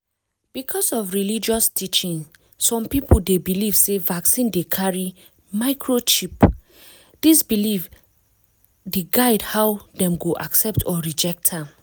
because of religious teaching some people dey believe sey vaccine dey carry microchip. this belief the guide how dem go accept or reject am